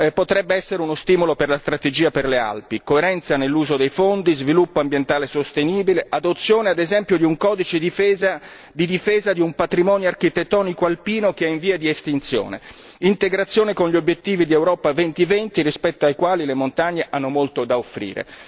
Potrebbe essere uno stimolo per la strategia per le Alpi coerenza nell'uso dei fondi, sviluppo ambientale sostenibile, adozione, ad esempio, di un codice di difesa di un patrimonio architettonico alpino che è in via di estinzione, integrazione con gli obiettivi di Europa 2020 rispetto ai quali le montagne hanno molto da offrire.